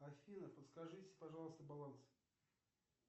аина подскажите пожалуйста баланс